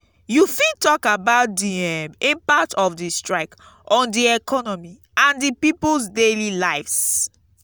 you fit talk about di um impact of di strike on di economy and di people's daily lives.